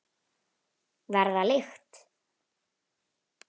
Verða lykt.